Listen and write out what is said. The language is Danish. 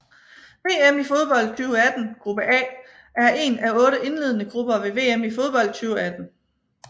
VM i fodbold 2018 gruppe A er en af otte indledende grupper ved VM i fodbold 2018